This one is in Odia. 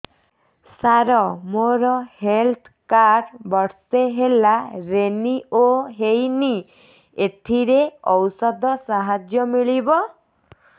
ସାର ମୋର ହେଲ୍ଥ କାର୍ଡ ବର୍ଷେ ହେଲା ରିନିଓ ହେଇନି ଏଥିରେ ଔଷଧ ସାହାଯ୍ୟ ମିଳିବ